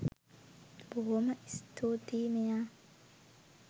බොහොම ස්තූති මෙයා.